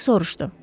Dik soruşdu.